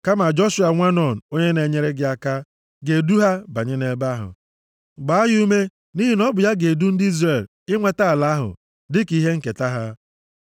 Kama Joshua, nwa Nun, onye na-enyere gị aka, ga-edu ha banye nʼebe ahụ. Gbaa ya ume nʼihi na ọ bụ ya ga-edu ndị Izrel inweta ala ahụ dịka ihe nketa ha.